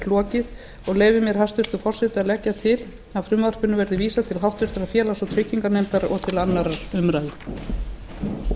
lokið og leyfi mér hæstvirtur forseti að leggja til að frumvarpinu verði vísað til háttvirtrar félags og trygginganefndar og